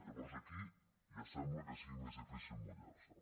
llavors aquí ja sembla que sigui més difícil mullar se